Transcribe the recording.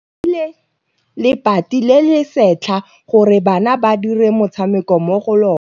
Ba rekile lebati le le setlha gore bana ba dire motshameko mo go lona.